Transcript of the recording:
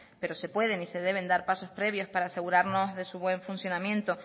pero se pueden y de deben dar pasos previos para asegurarnos de su buen funcionamiento